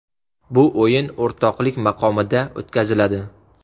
Bu o‘yin o‘rtoqlik maqomida o‘tkaziladi.